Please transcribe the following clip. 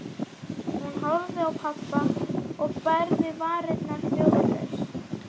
Hún horfði á pabba og bærði varirnar hljóðlaust.